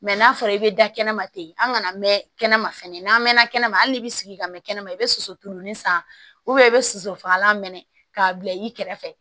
n'a fɔra i bɛ da kɛnɛ ma ten an kana mɛn kɛnɛma fɛnɛ n'an mɛnna kɛnɛma hali n'i bɛ sigi ka mɛn kɛnɛma i bɛ soso tulonin san i bɛ soso fagalan mɛnɛ k'a bila i kɛrɛfɛ